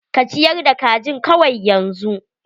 Ka ciyar da kajin kawai yanzu.